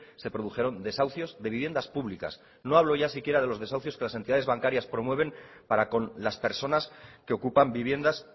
se produjeron desahucios de viviendas públicas no hablo ya si quiera de los desahucios que las entidades bancarias promueven para con las personas que ocupan viviendas